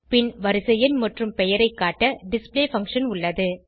பின் வரிசை எண் மற்றும் பெயரை காட்ட டிஸ்ப்ளே பங்ஷன் உள்ளது